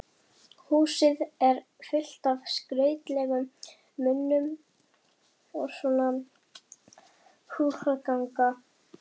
Húsið er fullt af skrautlegum munum og svona húsgagna